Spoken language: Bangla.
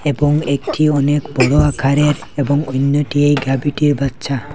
এবং একটি অনেক বড় আকারের এবং ওইন্যটি এই গাভীটির বাচ্চা।